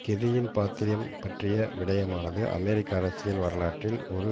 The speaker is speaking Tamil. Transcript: கெர்ரியின் பாத்திரம் பற்றிய விடயமானது அமெரிக்க அரசியல் வரலாற்றில் ஒரு